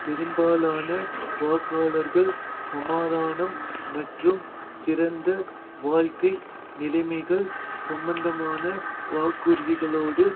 பெரும்பாலான வாக்காளர்கள் சமாதானம் மற்றும் சிறந்த வாழ்க்கை நிலைமைகள் சம்பந்தமான வாக்குறுதிகளோடு